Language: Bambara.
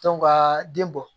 ka den bɔ